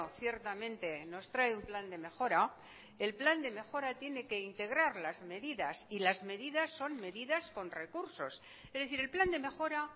ciertamente nos trae un plan de mejora el plan de mejora tiene que integrar las medidas y las medidas son medidas con recursos es decir el plan de mejora